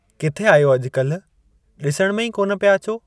किथे आहियो अॼुकल्ह? ॾिसण में ई कोन पिया अचो।